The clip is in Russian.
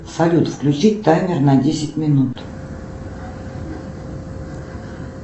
салют включи таймер на десять минут